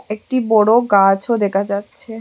একটি বড় গাছও দেখা যাচ্ছে।